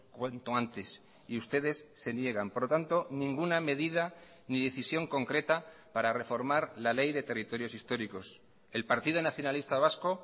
cuanto antes y ustedes se niegan por lo tanto ninguna medida ni decisión concreta para reformar la ley de territorios históricos el partido nacionalista vasco